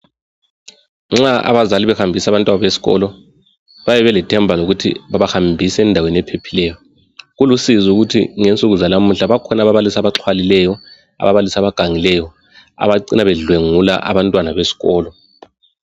Nxa abazali behambisa abantwababo esikolo bayabe belethemba lokuthi babahambisa endaweni ephephileyo. Kulusizi ukuthi ngensuku zalamuhla ukuthi kukhona ababalisi abaxhwalileyo, ababalisi abagangileyo abacina bedlwengula abantwana besikolo